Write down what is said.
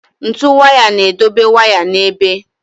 Ntu waya na-edobe waya n'ebe.